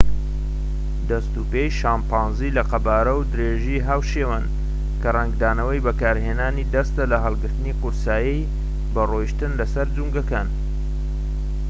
دەست و پێی شەمپانزی لە قەبارە و درێژی هاوشێوەن کە ڕەنگدانەوەی بەکارهێنانی دەستە لە هەڵگرتنی قورسایی بە ڕۆیشتن لە سەر جومگەکان